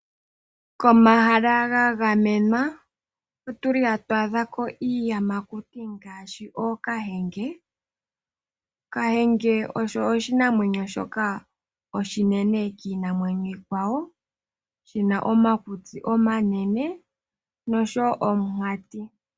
Komahala gagamenwa hakwaadhika iiyamakuti ngaashi ookahenge. Kahenge osho oshinamwenyo shoka oshinene kiinamwenyo iikwawo shina omakutsi omanene nomunkati.